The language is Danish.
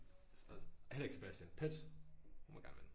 Og heller ikke Sebastian. Petsch hun må gerne vinde